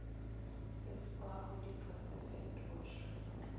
seswaro di ka se fetošwe